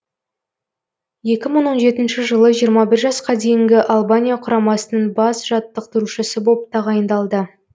екі мың он жетінші жылы жиырма бір жасқа дейінгі албания құрамасының бас жаттықтырушысы боп тағайындалды